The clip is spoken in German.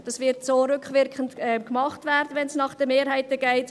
Wenn es nach der Mehrheit geht, wird es rückwirkend gemacht werden.